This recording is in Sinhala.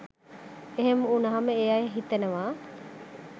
එහෙම වුණහම ඒ අය හිතනවා